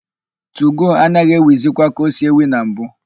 Tugo anaghị éwìzikwa ka o si éwì na mbụ.